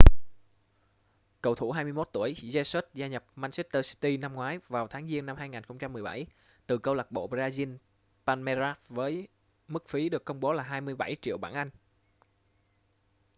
cầu thủ 21 tuổi jesus gia nhập manchester city năm ngoái vào tháng giêng năm 2017 từ câu lạc bộ brazil palmeiras với mức phí được công bố là 27 triệu bảng anh